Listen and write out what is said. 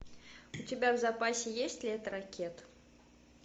у тебя в запасе есть лето ракет